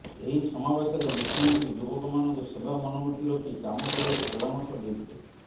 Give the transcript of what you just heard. ଏହି ସମାବେଶରେ ମୁଖ୍ୟମନ୍ତ୍ରୀ ଯୁବକମାନଙ୍କୁ ସେବା ମନବୃତ୍ତି ରଖି କାମ କରିବାକୁ ପରାମର୍ଶ ଦେଇଥିଲେ